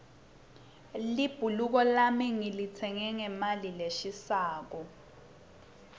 libhuluko lami ngilitsenge ngemali leshisako